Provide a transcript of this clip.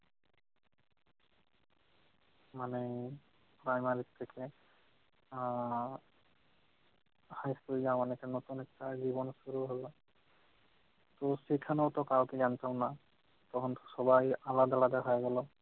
মানে primary থেকে আহ high school যাওয়া অনেকটা নতুন একটা জীবন শুরু হল। তো সেখানেও তো কাউকে জানতাম না, তখন সবাই আলাদা আলাদা হয়ে গেল।